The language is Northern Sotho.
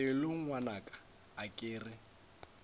pelo ngwanaka a ke re